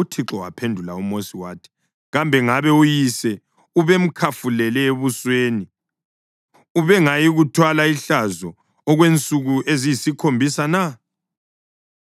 UThixo waphendula uMosi wathi, “Kambe ngabe uyise ubemkhafulele ebusweni, ubengayikuthwala ihlazo okwensuku eziyisikhombisa na?